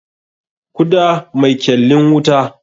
Kuda mai kyallin wuta.